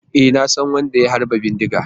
E, na san wadda ya harba bindiga.